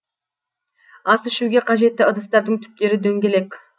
ас ішуге қажетті ыдыстардың түптері дөңгелек